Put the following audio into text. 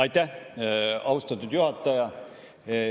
Aitäh, austatud juhataja!